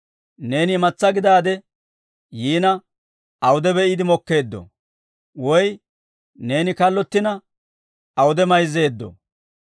Neeni imatsaa gidaade yiina awude be'iide mokkeeddoo? Woy neeni kallottina awude mayzzeeddo?